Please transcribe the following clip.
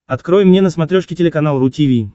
открой мне на смотрешке телеканал ру ти ви